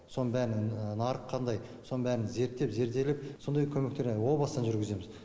соның бәрін нарық қандай соның бәрін зерттеп зерделеп сондай көмектерді о бастан жүргіземіз